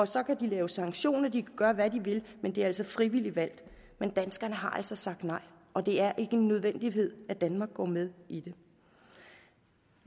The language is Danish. så kan de lave sanktioner og de kan gøre hvad de vil men det er altså frivilligt valgt men danskerne har altså sagt nej og det er ikke en nødvendighed at danmark går med i det